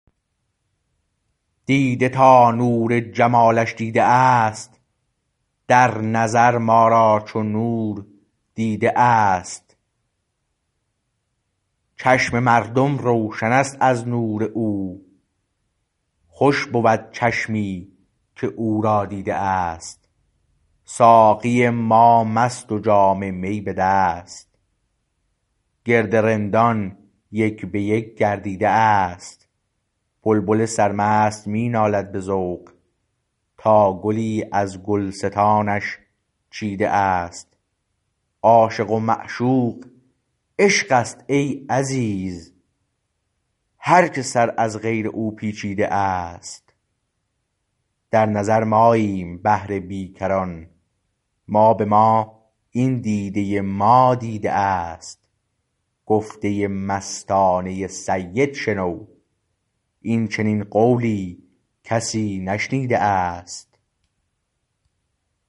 دیده تا نور جمالش دیده است در نظر ما را چو نور دیده است چشم مردم روشن است از نور او خوش بود چشمی که او را دیده است ساقی ما مست و جا م می به دست گرد رندان یک به یک گردیده است بلبل سرمست می نالد به ذوق تا گلی از گلستانش چیده است عاشق و معشوق عشق است ای عزیز هر که سر از غیر او پیچیده است در نظر ماییم بحر بیکران ما به ما این دیده ما دیده است گفته مستانه سید شنو این چنین قولی کسی نشنیده است